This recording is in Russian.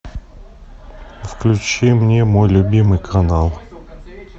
включи мне мой любимый канал